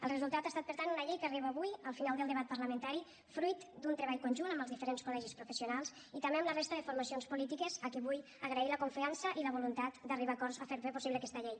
el resultat ha estat per tant una llei que arriba avui al final del debat parlamentari fruit d’un treball conjunt amb els diferents col·legis professionals i també amb la resta de formacions polítiques a qui vull agrair la confiança i la voluntat d’arribar a acords per fer possible aquesta llei